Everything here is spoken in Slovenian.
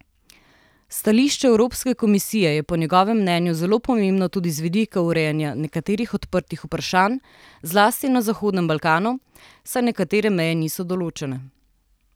Stališče Evropske komisije je po njegovem mnenju zelo pomembno tudi z vidika urejanja nekaterih odprtih vprašanj zlasti na Zahodnem Balkanu, saj nekatere meje niso določene.